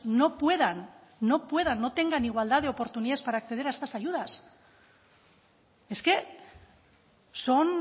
no puedan no puedan no tengan igualdad de oportunidades para acceder a estas ayudas es que son